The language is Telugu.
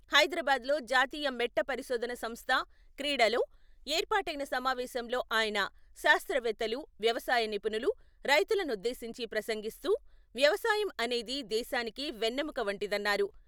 హైదరాబాద్ లో జాతీయ మెట్ట పరిశోధనా సంస్థ 'క్రీడా 'లో ఏర్పాటైన సమావేశంలో ఆయన, శాస్త్రవేత్తలు, వ్యవసాయ నిపుణులు, రైతులనుద్దేశించి ప్రసంగిస్తూ. వ్యవసాయం అనేది. దేశానికి వెన్నెముక వంటిదన్నారు.